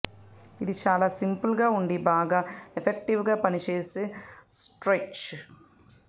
ఇది చాలా సింపుల్ గా ఉండి బాగా ఎఫెక్టివ్ గా పని చేసే స్ట్రెచ్